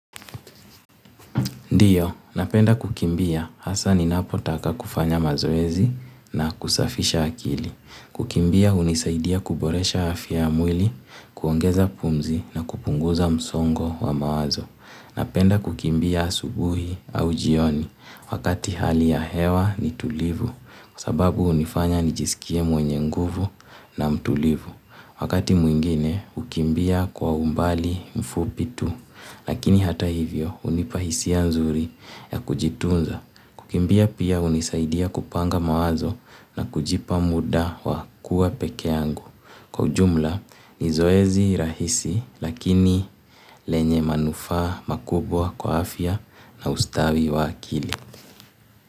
Ndio, napenda kukimbia hasa ninapotaka kufanya mazoezi na kusafisha akili. Kukimbia hunisaidia kuboresha afya ya mwili, kuongeza pumzi na kupunguza msongo wa mawazo. Napenda kukimbia asubuhi au jioni wakati hali ya hewa ni tulivu. Sababu hunifanya nijisikie mwenye nguvu na mtulivu. Wakati mwingine, hukimbia kwa umbali mfupi tu. Lakini hata hivyo hunipa hisia nzuri ya kujitunza. Kukimbia pia hunisaidia kupanga mawazo na kujipa muda wa kuwa peke yangu. Kwa ujumla ni zoezi rahisi lakini lenye manufaa makubwa kwa afya na ustawi wa akili.